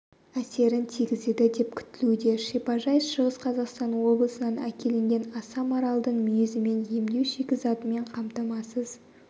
әсерін тигізеді деп күтілуде шипажай шығыс қазақстан облысынан әкелінген аса маралдың мүйізімен емдеу шикізатымен қамтамасыз